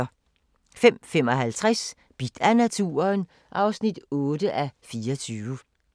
05:55: Bidt af naturen (8:24)